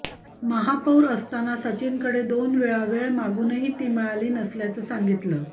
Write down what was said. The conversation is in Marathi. महापौर असताना सचिनकडे दोन वेळा वेळ मागूनही ती मिळाली नसल्याचं सांगितलं